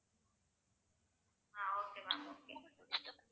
ah okay ma'am okay